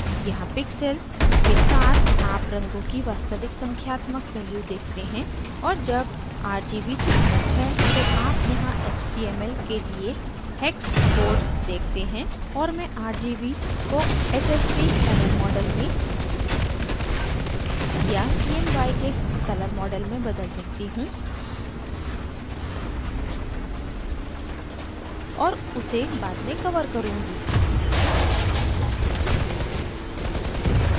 यहाँ pixel के साथ आप रंगों की वास्तविक संख्यात्मक value देखते हैं और जब rgb चयनित है तो आप यहाँ html के लिए hex code देखते हैं और मैं rgb को hsv color model में या cmyk color model में बदल सकती हूँ और उसे बाद में cover करुँगी